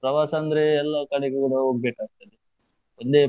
ಪ್ರವಾಸ ಅಂದ್ರೆ ಎಲ್ಲಾ ಕಡೆಗೆ ಕೂಡ ಹೋಗ್ಬೇಕಾಗ್ತದೆ, ಒಂದೇ.